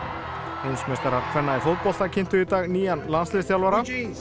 heimsmeistarar kvenna í fótbolta kynntu í dag nýjan landsliðsþjálfara